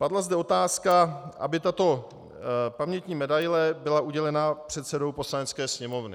Padla zde otázka, aby tato pamětní medaile byla udělena předsedou Poslanecké sněmovny.